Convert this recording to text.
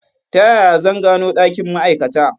Ta yaya zan gano ɗakin ma'aikata?